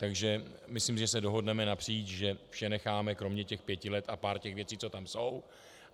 Takže myslím, že se dohodneme napříč, že vše necháme kromě těch pěti let a pár těch věcí, co tam jsou.